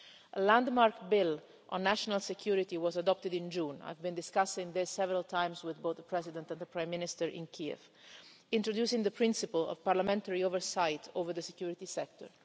A landmark bill on national security was adopted in June and I have discussed this several times with both the President and the Prime Minister in Kiev introducing the principle of parliamentary oversight over the security sector.